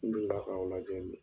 N deli la k'aw lajɛ